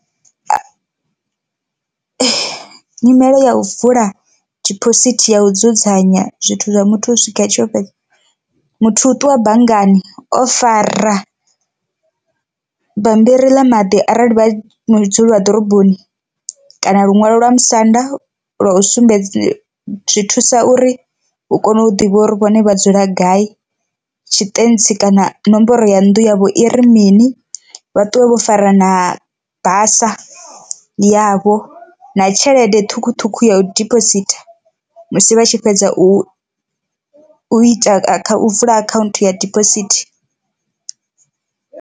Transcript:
Nyimele ya u vula diphosithi ya u dzudzanya zwithu zwa muthu u swika a tshiyo fhedza, muthu u ṱuwa banngani o fara bammbiri ḽa maḓi arali vha mu dzulwa ḓoroboni kana luṅwalo lwa musanda lwa u sumbedza zwi thusa uri hu kone u ḓivha uri vhone vha dzula gai tshitentsi kana nomboro ya nnḓu yavho i ri mini, vha ṱuwe vho fara na basa yavho na tshelede ṱhukhuṱhukhu ya diphositha musi vha tshi fhedza u u ita kha u vula akhaunthu ya diphosithi.